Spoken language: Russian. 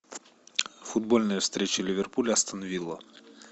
футбольная встреча ливерпуль астан вилла